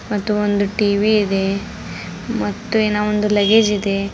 ಮತ್ತು ಒಂದು ಟಿ_ವಿ ಇದೆ ಮತ್ತು ಇನ್ನ ಒಂದು ಲಗೇಜ್ ಇದೆ.